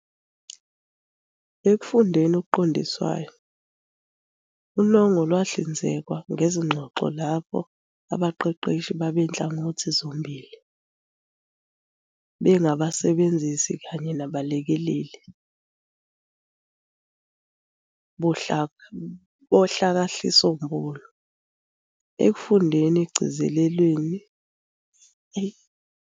Ekufundeni okuqondiswayo, unongo lwahlinzekwa ngezingxoxo lapho abaqeqeshi babe nhlangothi zombili- bengabasebenzisi kanye nabalekeleli bohlakahlisombulu. Ekufundeni okugcizilelwe, abaqeqeshi abangabantu baqala ngokufaka kuqhiwu izimpendulo zonongo zezingxoxo ezidlule.